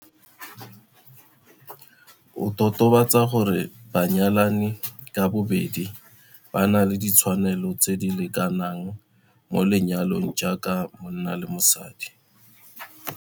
O totobatsa gore banyalani ka bobedi ba na le ditshwanelo tse di lekanang mo lenyalong jaaka monna le mosadi.